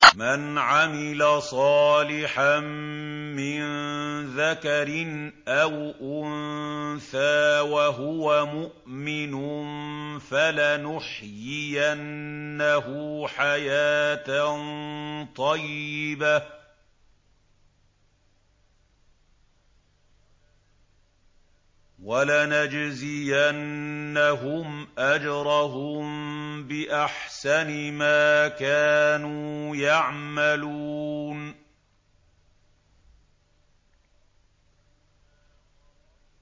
مَنْ عَمِلَ صَالِحًا مِّن ذَكَرٍ أَوْ أُنثَىٰ وَهُوَ مُؤْمِنٌ فَلَنُحْيِيَنَّهُ حَيَاةً طَيِّبَةً ۖ وَلَنَجْزِيَنَّهُمْ أَجْرَهُم بِأَحْسَنِ مَا كَانُوا يَعْمَلُونَ